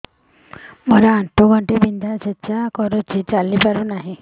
ମୋର ଆଣ୍ଠୁ ଗଣ୍ଠି ବିନ୍ଧା ଛେଚା କରୁଛି ଚାଲି ପାରୁନି